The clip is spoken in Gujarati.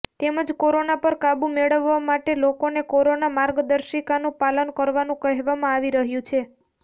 તેમજ કોરોના પર કાબૂ મેળવવા માટે લોકોને કોરોના માર્ગદર્શિકાનું પાલન કરવાનું કહેવામાં આવી રહ્યું છે